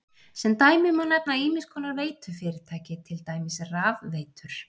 Sem dæmi má nefna ýmiss konar veitufyrirtæki, til dæmis rafveitur.